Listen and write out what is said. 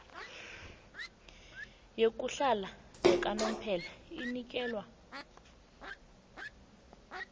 yokuhlala yakanomphela inikelwa